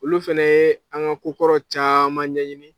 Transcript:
Olu fana ye an ka ko kɔrɔ caman ɲɛɲini.